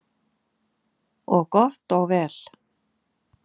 Og gott og vel.